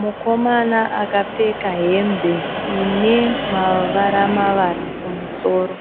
Mukomana akapfeka hembe ine mavara mavara kumusoro,